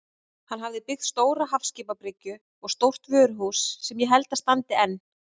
Hann hafði byggt stóra hafskipabryggju og stórt vöruhús sem ég held að standi enn.